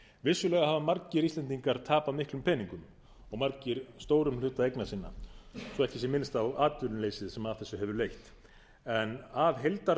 vissulega hafa margir íslendingar tapað miklum peningum og margir stórum hluta eigna sinna svo ekki sé minnst á atvinnuleysið sem af þessu hefur leitt